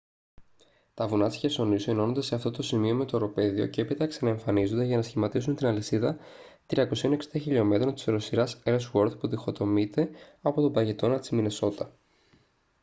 τα βουνά της χερσονήσου ενώνονται σε αυτό το σημείο με το οροπέδιο και έπειτα ξαναεμφανίζονται για να σχηματίσουν την αλυσίδα 360 χλμ της οροσειράς ellsworth που διχοτομείται από τον παγετώνα της μινεσότα